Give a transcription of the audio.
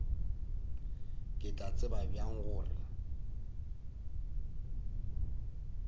ke tla tseba bjang gore